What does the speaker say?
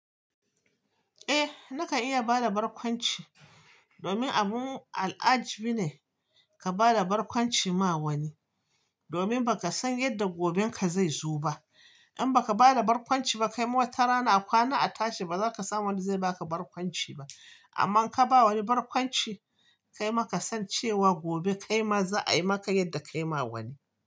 Eh, nakan iya bada barkwanci domin abun al'ajabi ne ka bada barkwanci ma wani, domin ba ka san yadda goben ka zai zo ba. In baka bada barkwanci ba, kai ma watarana a kwana a tashi baza ka samu wanda zai baka barkwanci ba. Amma in ka ba wani barkwanci kai ma ka san cewa gobe kai ma za a yi maka yadda kai ma wani.